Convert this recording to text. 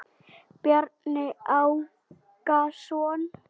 Bjarni Ákason.